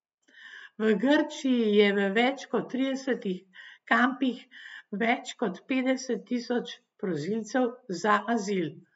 V Grčiji je v več kot tridesetih kampih več kot petdeset tisoč prosilcev za azil.